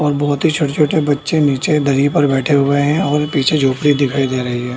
और बहुत ही छोटे-छोटे बच्चे निचे दरी पर बैठे हुए हैं और पीछे झोपड़ी दिखाई दे रही है।